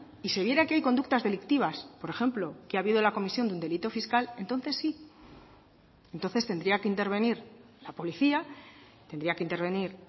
y se viera que hay conductas delictivas por ejemplo que ha habido la comisión de un delito fiscal entonces sí entonces tendría que intervenir la policía tendría que intervenir